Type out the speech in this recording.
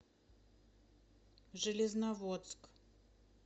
железноводск